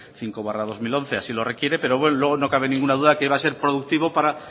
cinco barra dos mil once así lo requiere pero luego no cabe ninguna duda que va a ser productivo para